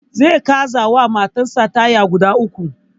Zai canza wa matan sa taya uku